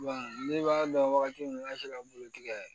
ne b'a dɔn wagati min na n'a sera bulu tigɛ